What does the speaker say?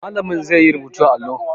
Malamin zai yi rubutu a allo